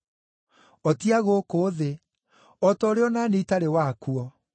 O ti a gũkũ thĩ, o ta ũrĩa o na niĩ itarĩ wakuo.